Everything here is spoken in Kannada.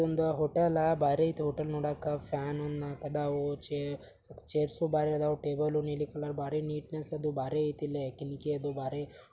ಒಂದು ಹೋಟೆಲ್ಲ ಬಾರಿ ಐತಿ ಹೋಟೆಲ್ ನೋಡಕ್ಕ ಫಾನು ಒಣ ನಾಕ್ ಅದಾವು ಚೇರು ಛೇರ್ಸು ಬಾರಿ ಇದ್ದವು ಟೇಬಲ್ ನೀಲಿ ಕಲರ್ ಬಾರಿ ನೀಟ್ನೆಸ್ ಅದು ಬಾರಿಯೇತಿ ಇಲ್ಲೇ ಅದು ಬಾರಿ.